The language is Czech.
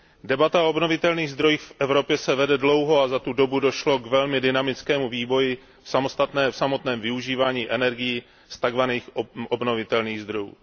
Debata o obnovitelných zdrojích v Evropě se vede dlouho a za tu dobu došlo k velmi dynamickému vývoji v samotném využívání energií z takzvaných obnovitelných zdrojů.